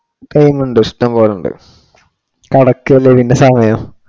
Time ഉണ്ട് ഇഷ്ടം പോലെ ഉണ്ട്. കടക്കുകയല്ലേ ഇതിന്റെ സമയം.